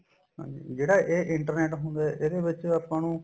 ਹਾਂਜੀ ਜਿਹੜਾ ਇਹ internet ਹੁੰਦਾ ਇਹਦੇ ਵਿੱਚ ਆਪਾਂ ਨੂੰ